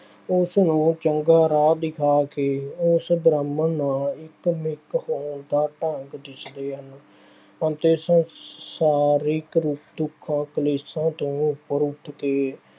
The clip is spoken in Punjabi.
ਉਸ ਨੂੰ ਚੰਗਾ ਰਾਹ ਦਿਖਾ ਕੇ ਉਸ ਬ੍ਰਹਮ ਨਾਲ ਇੱਕ-ਮਿੱਕ ਹੋਣ ਦਾ ਢੰਗ ਦੱਸਦੇ ਹਨ ਅਤੇ ਸ ਅਹ ਸਾਰੇ ਦੁੱਖਾਂ-ਕਲੇਸ਼ਾਂ ਤੋਂ ਉੱਪਰ ਉੱਠ ਕੇ